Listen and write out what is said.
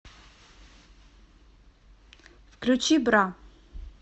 включи бра